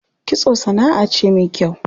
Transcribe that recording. Kitso sanaʼa ce me kyau.